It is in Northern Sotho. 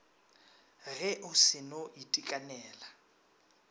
ge o se no itekanela